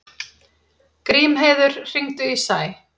Grímheiður, hringdu í Sæ.